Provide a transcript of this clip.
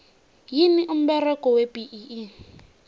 yini umberego webee